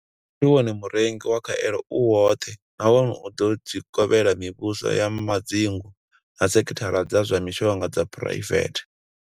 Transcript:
Muvhuso ndi wone murengi wa khaelo u woṱhe nahone u ḓo dzi kovhela mivhuso ya madzingu na sekhithara dza zwa mishonga dza phuraivethe.